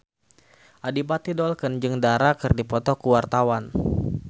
Adipati Dolken jeung Dara keur dipoto ku wartawan